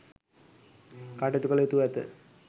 කටයුතු කළ යුතුව ඇත.